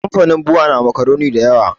Kamfanin bua na makuroni da yawa